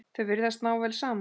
Þau virðast ná vel saman.